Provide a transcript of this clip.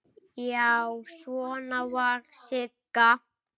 Já, svona var Sigga!